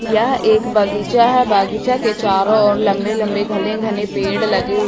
यह एक बगीचा है बगीचा के चारों और लंबे लंबे घने घने पेड़ लगे हुए--